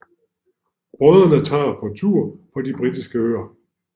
Brødrene tager på tur på de britiske øer